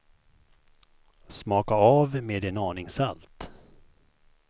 Smaka av med en aning salt.